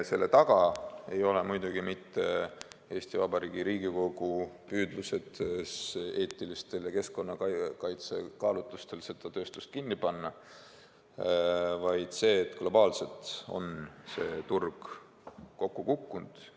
Selle taga ei ole Eesti Vabariigi Riigikogu püüdlused eetilistel ja keskkonnakaitselistel kaalutlustel seda tööstust kinni panna, vaid tõsiasi, et globaalselt on see turg kokku kukkunud.